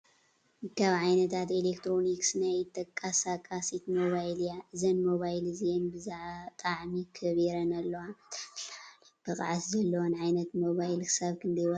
ካብ ዓይነታት ኤሌክትሮኒክስ ናይ ኢድ ተቃሳቃሲት ሞባይል እያ እዘን ሞባይል እዚኣን ብዛጣዕሚ ከቢረን ኣለዋ። እተን ዝለዓለ ብቅዓት ዘለወን ዓይነት ሞባይል ክሳብ ክንዳይ ዋጋ በፂሐን?